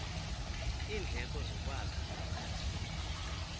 iindleko zokwakha zingasuka